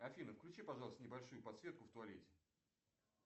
афина включи пожалуйста небольшую подсветку в туалете